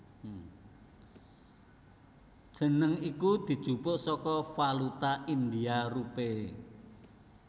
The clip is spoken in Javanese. Jeneng iki dijupuk saka valuta India rupee